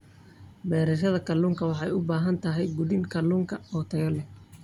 Beerashada kalluunka waxay u baahan tahay quudin kalluunka oo tayo leh.